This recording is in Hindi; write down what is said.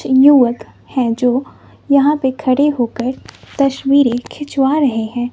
युवक हैं जो यहां पे खड़े होकर तस्वीरे खिंचवा रहे हैं।